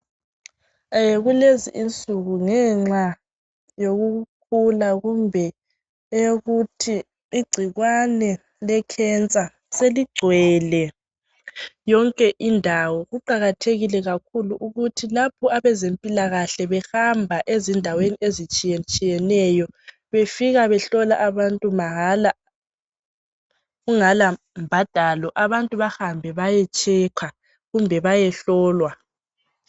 Kulezi insuku ngenxa yokukhula kumbe eyokuthi igcikwane lekhensa seligcwele yonke indawo. Kuqakathekile kakhulu ukuthi lapho abezempilakahle behamba ezindaweni ezitshiyetshiyeneyo befika behlola abantu mahala kungela mbhadalo abantu bahambe bayehlolwa.